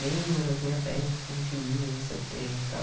Lembra da primeira peça que a gente viu, não sei o quê e tal.